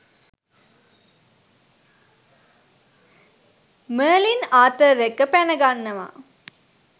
Merlin Arthur එක්ක පැනගන්නවා.